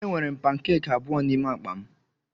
Enwere m pankeki abụọ n'ime akpa m.